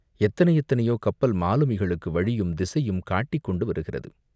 எத்தனை எத்தனையோ கப்பல் மாலுமிகளுக்கு வழியும் திசையும் காட்டிக்கொண்டு வருகிறது.